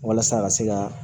Walasa a ka se ka